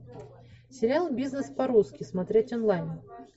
сериал бизнес по русски смотреть онлайн